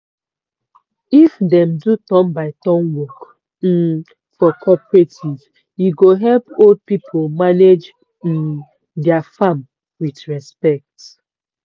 if dem do turn by turn work um for cooperative e go help old people manage um dia farm with respect.